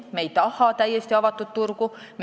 Me ei taha täiesti avatud turgu.